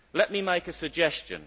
Let me make a suggestion.